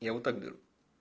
я вот так беру